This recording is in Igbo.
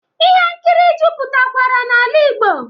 Ihe nkiri jupụtakwara n'ala Igbo